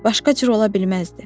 Başqa cür ola bilməzdi.